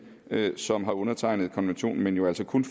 som har undertegnet konventionen men jo altså kun